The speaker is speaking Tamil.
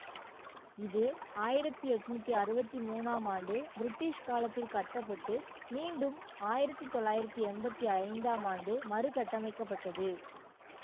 இது ஆயிரத்தி எண்ணூற்றி அறுபத்தி மூணாம் ஆண்டு பிரிட்டிஷ் காலத்தில் கட்ட பட்டு மீண்டும் ஆயிரத்தி தொள்ளாயிரத்தி எம்பத்தி ஐந்து ஆம் ஆண்டு மறுகட்டமைக்கப்பட்டது